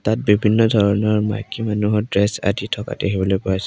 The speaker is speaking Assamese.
ইয়াত বিভিন্ন ধৰণৰ মাইকী মানুহৰ ড্ৰেছ আদি থকা দেখিবলৈ পোৱা হৈছে।